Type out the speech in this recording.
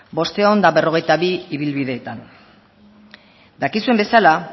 bostehun eta berrogeita bi ibilbideetan dakizuen bezala